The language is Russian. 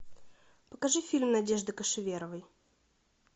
покажи фильм надежды кошеверовой